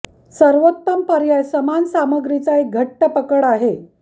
सर्वोत्तम पर्याय समान सामग्रीचा एक घट्ट पकड आहे